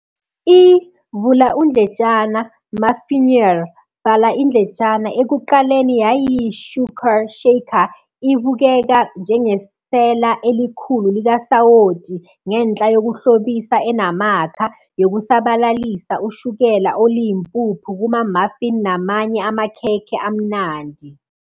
I- "Muffineer" ekuqaleni yayiyi-shuaker shaker, ibukeka njengesela elikhulu likasawoti ngenhla yokuhlobisa enamakha, yokusabalalisa ushukela oluyimpuphu kuma-muffin namanye amakhekhe amnandi.